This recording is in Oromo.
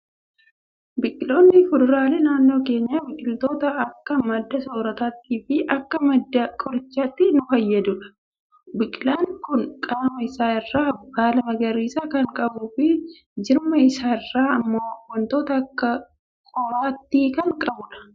Biqiloonni fuduraalee naannoo keenyaa, biqiloota akka madda soorrataattii fi akka madda qorichaatti nu fayyadanidha. Biqilaan Kun qaama isaa irraa baala magariisa kan qabuu fi jirma isaa irraa immoo waanta akka qoraattii kan qabudha.